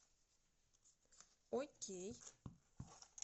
окей